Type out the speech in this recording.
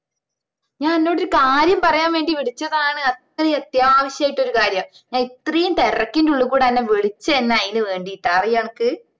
ഞാൻ അന്നോട് ഒരു കാര്യം പറയാൻ വേണ്ടി വിളിച്ചതാണ് അത്രയും അത്യാവശ്യം ആയിട്ട് ഒരു കാര്യം ഞാൻ ഇത്രയും തിരക്കിൻറെ ഉള്ളികൂടെ അന്നെ വിളിച്ചെന്നെ അയിന് വേണ്ടീട്ടാ അറിയുവാ അനക്ക്